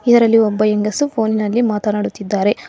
ಇದರಲ್ಲಿ ಒಬ್ಬ ಹೆಂಗಸು ಫೋನಿನಲ್ಲಿ ಮಾತನಾಡುತ್ತಿದ್ದಾರೆ.